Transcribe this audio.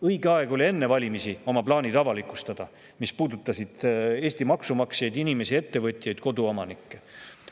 Õige aeg oli enne valimisi avalikustada oma plaanid, mis puudutavad Eesti maksumaksjaid, inimesi, ettevõtjaid, koduomanikke.